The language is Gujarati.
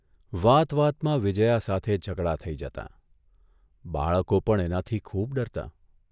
વાત વાતમાં વિજયા સાથે ઝઘડા થઇ જતાં બાળકો પણ એનાથી ખુબ ડરતાં.